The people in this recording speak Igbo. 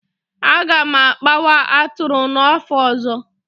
A ga m akpawa atụrụ n'afọ ọzọ